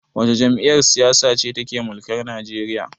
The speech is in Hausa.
Wace jam'iyyar siyasa ce take mulkar Nigeria?